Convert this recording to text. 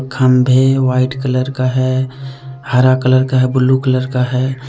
खम्भे white colour का है हरा कलर का है ब्लू कलर का है।